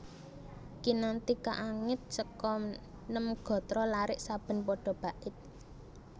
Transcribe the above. Kinanthi kaangit seka nem gatra larik saben pada bait